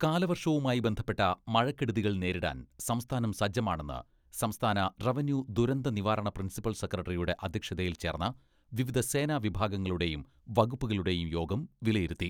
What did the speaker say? കാലവർഷവുമായി ബന്ധപ്പെട്ട മഴക്കെടുതികൾ നേരിടാൻ സംസ്ഥാനം സജ്ജമാണെന്ന് സംസ്ഥാന റവന്യൂ ദുരന്ത നിവാരണ പ്രിൻസിപ്പൽ സെക്രട്ടറിയുടെ അദ്ധ്യക്ഷതയിൽ ചേർന്ന വിവിധ സേനാ വിഭാഗങ്ങളുടെയും വകുപ്പുകളുടെയും യോഗം വിലയിരുത്തി.